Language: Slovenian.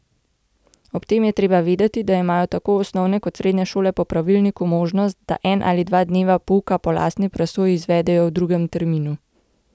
Ob tem je treba vedeti, da imajo tako osnovne kot srednje šole po pravilniku možnost, da en ali dva dneva pouka po lastni presoji izvedejo v drugem terminu.